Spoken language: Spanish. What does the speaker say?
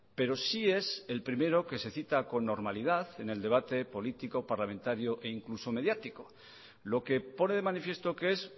pero sí es el primero que se cita con normalidad en el debate político parlamentario e incluso mediático lo que pone de manifiesto que es